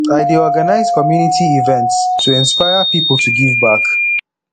i dey organize community events to inspire pipo to give back